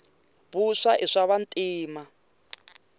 vuswa i swava ntima